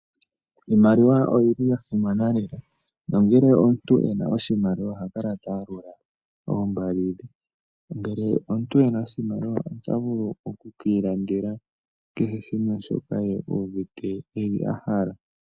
Iimaliwa oyili ya simana nayi, nongele omuntu ena oshimaliwa oha kala ta yalula oombali dhe. Ngele omuntu ena oshimaliwa ota vulu okwiilandela kehe shoka uuvite ye a hala.